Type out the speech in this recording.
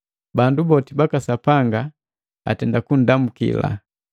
Bandu boti baka Sapanga atenda kundamuki.